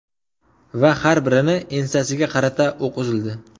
Va har birini ensasiga qarata o‘q uzildi.